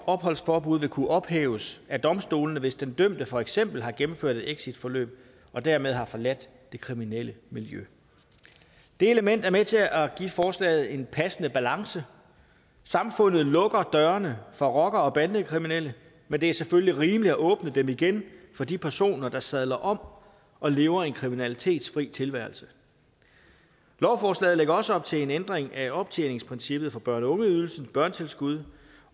opholdsforbud vil kunne ophæves af domstolene hvis den dømte for eksempel har gennemført et exitforløb og dermed har forladt det kriminelle miljø det element er med til at give forslaget en passende balance samfundet lukker dørene for rockere og bandekriminelle men det er selvfølgelig rimeligt at åbne dem igen for de personer der sadler om og lever en kriminalitetsfri tilværelse lovforslaget lægger også op til en ændring af optjeningsprincippet for børne og ungeydelse børnetilskud